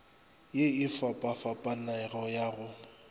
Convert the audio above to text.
ye e fapafapanego ya go